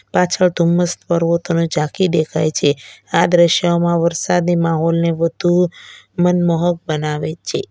પાછળ ધુમ્મસ પર્વતોને ઝાંખી દેખાય છે આ દ્રશ્યમાં વરસાદી માહોલને વધુ મનમોહક બનાવે છે.